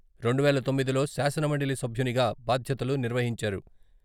రెండువేల తొమ్మిదిలో శాసనమండలి సభ్యునిగా బాధ్యతలు నిర్వహించారు.